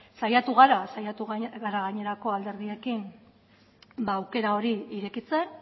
saiatu gara saiatu gara gainerako alderdiekin aukera hori irekitzen